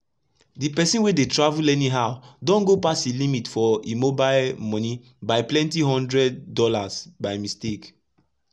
d persin wey dey travel anyhow don go pass e limit for e mobile moni by plenty hundred dollars by mistake.